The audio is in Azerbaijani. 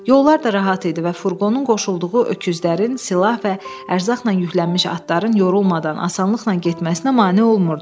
Yollar da rahat idi və furqonun qoşulduğu öküzlərin, silah və ərzaqla yüklənmiş atların yorulmadan asanlıqla getməsinə mane olmurdu.